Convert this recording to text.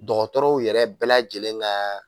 Dɔgɔtɔrɔw yɛrɛ bɛɛ lajɛlen ka